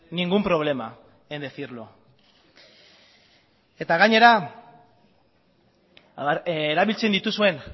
ningún problema en decirlo eta gainera erabiltzen dituzuen